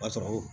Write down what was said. O b'a sɔrɔ